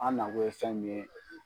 An nakun ye fɛn min ye